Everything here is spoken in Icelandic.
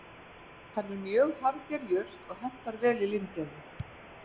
Hann er mjög harðgerð jurt og hentar vel í limgerði.